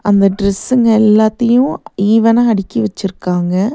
இந்த டிரஸ்ங்க எல்லாத்தையும் ஈவனா அடுக்கி வச்சிருக்காங்க.